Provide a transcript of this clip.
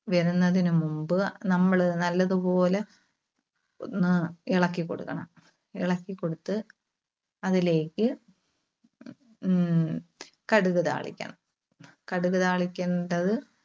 വരുന്നതിന് മുൻപ് നമ്മള് നല്ലതുപോലെ ഒന്ന് ഇളക്കികൊടുക്കണം. ഇളക്കി കൊടുത്ത് അതിലേക്ക് ഉം കടുക് താളിക്കണം. കടുക് താളിക്കണ്ടത്